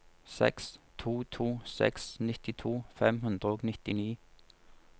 seks to to seks nittito fem hundre og nittini